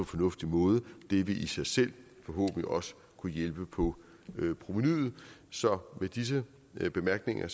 fornuftig måde det vil i sig selv forhåbentlig også kunne hjælpe på provenuet så med disse bemærkninger